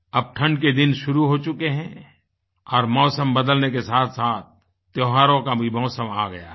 अब ठंड के दिन शुरू हो चुके हैं और मौसम बदलने के साथसाथ त्योहारों काभी मौसम आ गया है